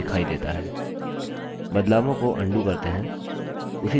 बदलावों को अन्डू करते हैं